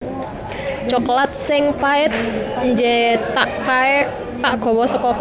Coklat sing pait njethak kae tak gowo soko Kanada